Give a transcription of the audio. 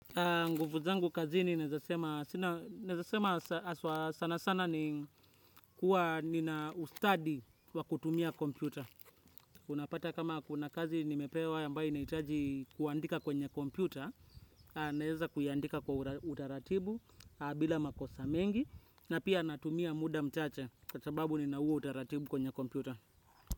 Nguvu zangu kazini naeza sema aswa sana sana ni kuwa nina ustadi wa kutumia kompyuta. Unapata kama kuna kazi nimepewa ambayo inahitaji kuandika kwenye kompyuta, naeza kuiandika kwa utaratibu bila makosa mengi na pia natumia muda mchache kwa sababu nina huo utaratibu kwenye kompyuta.